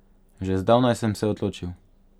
Že zdavnaj sem se odločil.